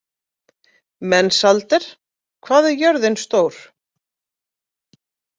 Mensalder, hvað er jörðin stór?